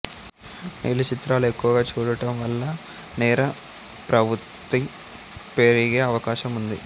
నీలి చిత్రాలు ఎక్కువగా చూడటం వల్ల నేర ప్రవృత్తి పెరిగే అవకాశం ఉంది